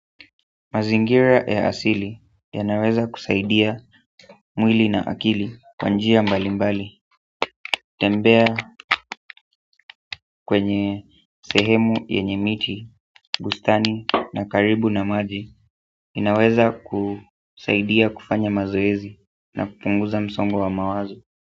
Mazingira ya asili yanaweza kusaidia mwili na akili kwa njia mbali mbali tembea kwenye sehemu yenye miti, bustani na karibu na maji inaweza kusaidia kufanya mazoezi na kupunguza msongo wa mawazo.